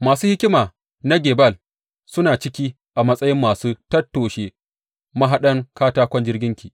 Masu hikima na Gebal suna ciki a matsayin masu tattoshe mahaɗan katakon jirginki.